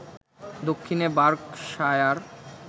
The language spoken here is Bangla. দক্ষিণে বার্কশায়ার